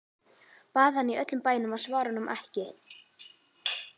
Bað hana í öllum bænum að svara honum ekki.